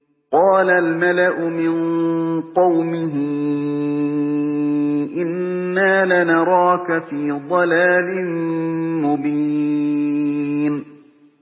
قَالَ الْمَلَأُ مِن قَوْمِهِ إِنَّا لَنَرَاكَ فِي ضَلَالٍ مُّبِينٍ